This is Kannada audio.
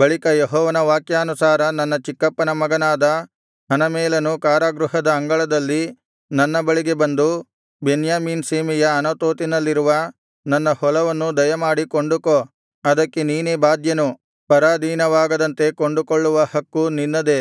ಬಳಿಕ ಯೆಹೋವನ ವಾಕ್ಯಾನುಸಾರ ನನ್ನ ಚಿಕ್ಕಪ್ಪನ ಮಗನಾದ ಹನಮೇಲನು ಕಾರಾಗೃಹದ ಅಂಗಳದಲ್ಲಿ ನನ್ನ ಬಳಿಗೆ ಬಂದು ಬೆನ್ಯಾಮೀನ್ ಸೀಮೆಯ ಅನಾತೋತಿನಲ್ಲಿರುವ ನನ್ನ ಹೊಲವನ್ನು ದಯಮಾಡಿ ಕೊಂಡುಕೋ ಅದಕ್ಕೆ ನೀನೇ ಬಾಧ್ಯನು ಪರಾಧೀನವಾಗದಂತೆ ಕೊಂಡುಕೊಳ್ಳುವ ಹಕ್ಕೂ ನಿನ್ನದೇ